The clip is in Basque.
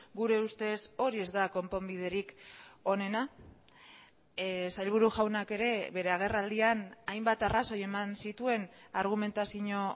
gure ustez hori ez da konponbiderik honena sailburu jaunak ere bere agerraldian hainbat arrazoi eman zituen argumentazio